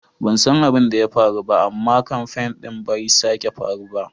Ban san abin da ya faru ba amma kamfain din bai sake faru ba.